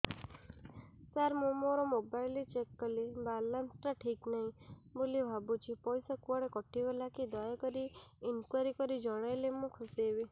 ସାର ମୁଁ ମୋର mobile check କଲି ବାଲାନ୍ସ ଟା ଠିକ ନାହିଁ ବୋଲି ଭାବୁଛି ପଇସା କୁଆଡେ କଟି ଗଲା କି ଦୟାକରି ଇନକ୍ୱାରି କରି ଜଣାଇଲେ ମୁଁ ଖୁସି ହେବି